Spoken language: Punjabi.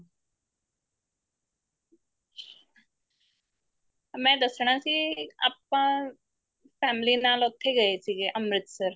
ਮੈਂ ਦੱਸਣਾ ਸੀ ਆਪਾਂ family ਨਾਲ ਉੱਥੇ ਗਏ ਸੀਗੇ ਅੰਮ੍ਰਿਤਸਰ